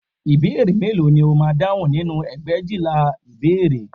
Ìbéèrè mélòó ni o máa dáhùn nínú ẹgbẹ̀éjìlá ìbéèrè